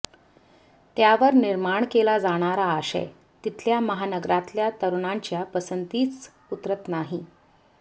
त्यावर निर्माण केला जाणारा आशय तिथल्या महानगरांतल्या तरुणांच्या पसंतीस उतरत नाही